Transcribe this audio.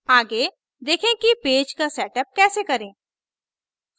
आगे देखें कि पेज का setup कैसे करें